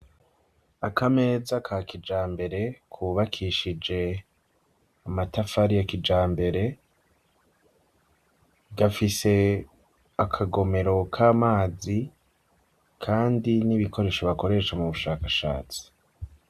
Akameza ka kijambere, kubakishije amatafari ya kijambere, gafise akagomero k'amazi, kandi n'ibikoresho bakoresha mu bushakashatsi.